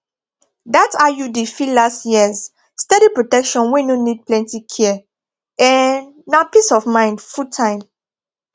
that iud fit last years steady protection wey no need plenty care um na peace of mind fulltime